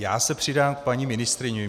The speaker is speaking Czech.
Já se přidám k paní ministryni.